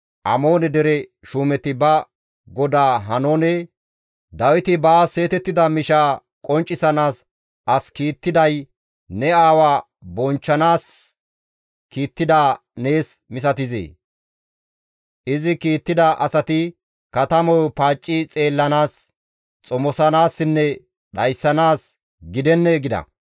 Amoone dere shuumeti ba godaa Haanoone, «Dawiti baas seetettida mishaa qonccisanaas as kiittiday ne aawa bonchchanaas kiittidaa nees misatizee? Izi kiittida asati katamayo paacci xeellanaas, xomosanaassinne dhayssanaas gidennee?» gida.